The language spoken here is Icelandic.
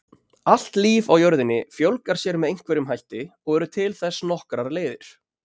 Allt líf á jörðinni fjölgar sér með einhverjum hætti og eru til þess nokkrar leiðir.